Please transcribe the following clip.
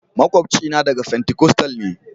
makwabcina daga fentikostal ne.